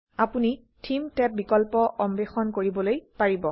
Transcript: আপোনি theme tab বিকল্প অন্বেষণ কৰিবলৈ পাৰিব